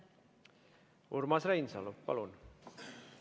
Urmas Reinsalu, palun!